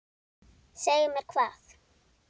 Segja mér hvað?